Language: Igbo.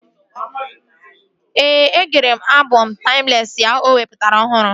Ee, e gere m abọm taimlesị ya o wepụtara ọhụrụ